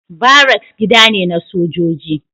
Baracks gida ne na sojoji.